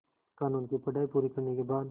क़ानून की पढा़ई पूरी करने के बाद